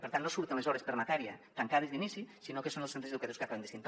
per tant no surten les hores per matèria tancades d’inici sinó que són els centres educa·tius que ho acaben decidint